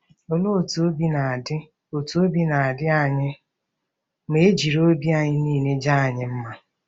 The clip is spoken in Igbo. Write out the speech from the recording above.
Olee otú obi na-adị otú obi na-adị anyị ma e jiri obi anyị niile jaa anyị mma?